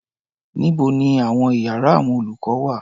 Níbo ni àwọn iyàrá àwọn olùkọ́ wà?